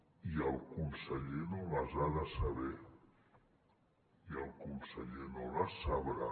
i el conseller no les ha de saber i el conseller no les sabrà